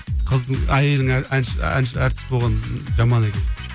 қыздың әйелің әнші әнші әртіс болғаны жаман екен